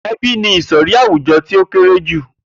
E̩bí ni ìsò̩rí àwùjo̩ tí ó kéré jù